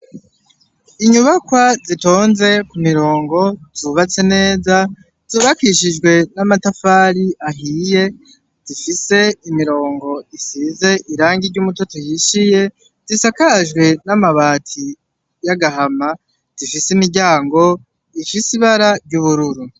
Inyubakwa zitonze ku mirongo, zubatse neza, zubakishijwe n'amatafari ahiye, zifise imirongo isize irangi ry'umutoto uhishiye, zisakajwe n'amabati y'agahama zifise imiryango ifise ibara ry'ubururu.